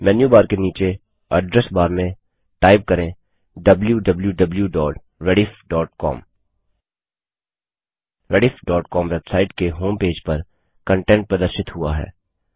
menu bar के नीचे address bar में टाइप करें160 wwwrediffcom rediffकॉम वेबसाइट के होमपेज पर कंटेंट प्रदर्शित हुआ है